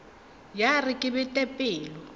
ya re ke bete pelo